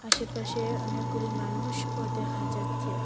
আশেপাশে অনেকগুলি মানুষও দেখা যাচ্ছে।